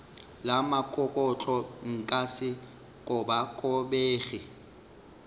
la mokokotlo nka se kobakobege